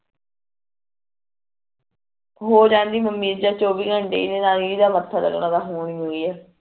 ਹੋਰਾਂ ਦਾ ਮੱਮੀ ਚ ਚੋਵੀਂ ਘੰਟੇ